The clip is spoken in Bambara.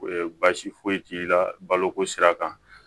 baasi foyi t'i la baloko sira kan